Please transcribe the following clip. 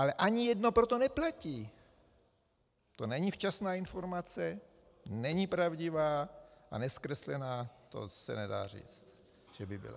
Ale ani jedno pro to neplatí, to není včasná informace, není pravdivá a nezkreslená, to se nedá říct, že by byla.